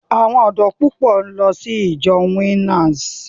Àwọn ọ̀dọ́ púpọ̀ ń lọ sí ìjọ Winners.